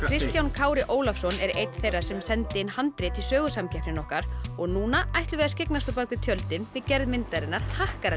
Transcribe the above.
Kristján Kári Ólafsson er einn þeirra sem sendi inn handrit í Sögusamkeppnina okkar og núna ætlum við að skyggnast á bak við tjöldin við gerð myndarinnar